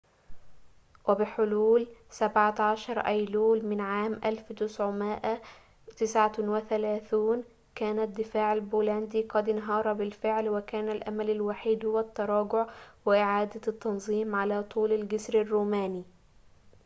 وبحلول 17 أيلول من عام 1939 كان الدفاع البولندي قد انهار بالفعل وكان الأمل الوحيد هو التراجع وإعادة التنظيم على طول الجسر الروماني